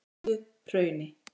Helluhrauni